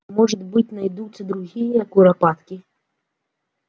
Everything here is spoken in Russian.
может быть найдутся другие куропатки